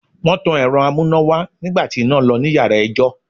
Wọ́n tan Ẹ̀rọ amúnáwá nígbà tí iná lọ ní yàrá ẹjọ́.